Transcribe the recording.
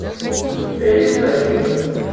у тебя есть тачки